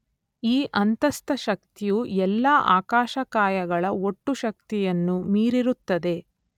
ಈ ಅಂತಸ್ಥ ಶಕ್ತಿಯು ಎಲ್ಲಾ ಆಕಾಶಕಾಯಗಳ ಒಟ್ಟು ಶಕ್ತಿಯನ್ನು ಮೀರಿರುತ್ತದೆ